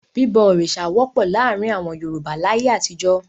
Bíbọ òrìṣà wọ́pọ̀ láàárin àwọn Yorùbá láyé àtijọ́.